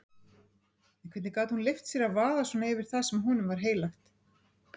En hvernig gat hún leyft sér að vaða svona yfir það sem honum var heilagt?